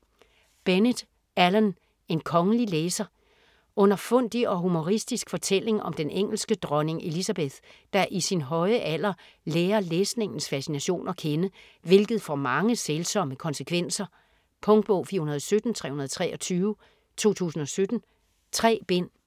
Bennett, Alan: En kongelig læser Underfundig og humoristisk fortælling om den engelske dronning Elizabeth, der i sin høje alder lærer læsningens fascination at kende, hvilket får mange sælsomme konsekvenser. Punktbog 417323 2017. 3 bind.